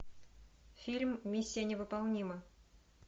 фильм миссия невыполнима